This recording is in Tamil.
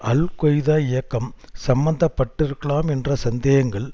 அல் கொய்தா இயக்கம் சம்மந்தப்பட்டிருக்கலாம் என்ற சந்தேகங்கள்